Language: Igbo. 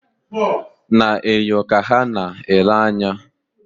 Na-enyo ka ha na-ele anya